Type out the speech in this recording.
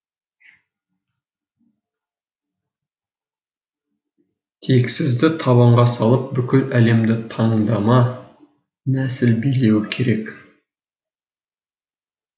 тексізді табанға салып бүкіл әлемді таңдама нәсіл билеуі керек